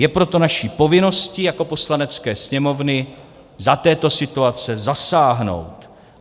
Je proto naší povinností jako Poslanecké sněmovny za této situace zasáhnout.